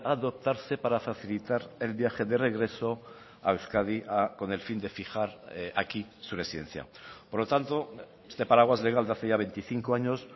adoptarse para facilitar el viaje de regreso a euskadi con el fin de fijar aquí su residencia por lo tanto este paraguas legal de hace ya veinticinco años